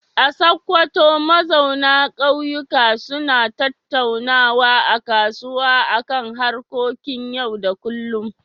A Sokoto, mazauna kauyuka suna tattaunawa a kasuwa a kan harkokin yau da kullum.